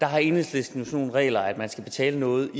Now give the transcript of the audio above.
har enhedslisten nogle regler om at man skal betale noget